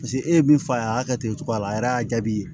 Paseke e ye min f'a ye a y'a kɛ ten cogoya la a yɛrɛ y'a jaabi